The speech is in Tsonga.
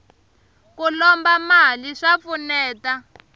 ku lomba mali swa pfuneta